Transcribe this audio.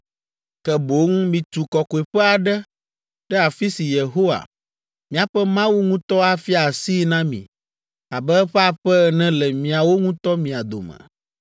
ke boŋ mitu kɔkɔeƒe aɖe ɖe afi si Yehowa, miaƒe Mawu ŋutɔ afia asii na mi abe eƒe aƒe ene le miawo ŋutɔ mia dome.